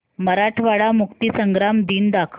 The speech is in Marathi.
मराठवाडा मुक्तीसंग्राम दिन दाखव